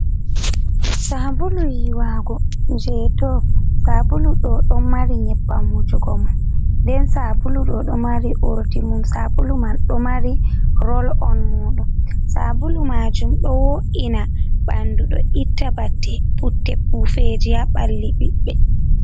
Sabulu yiwago je dou, sabulu ɗo ɗo mari nyebbam wujugo mon, nden sabulu ɗo ɗo mari urdi mum, sabulu man ɗo mari rol on mudum. sabulu majum ɗo wo’ina ɓandu, ɗo itta bate putte pufeji ha ɓalli ɓiɓɓe.